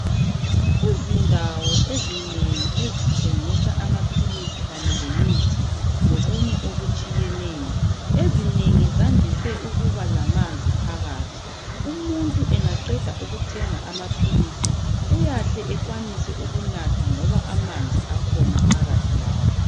Izindawo ezinengi ezithengisa amaphilisi kanye lomuthi lokunye okutshiyeneyo. Ezinengi zandise ukuba lamanzi phakathi, umuntu angaqeda ukuthenga amaphilisi uyahle ekwanise ukunatha ngoba amanzi akhona phakathi lapho.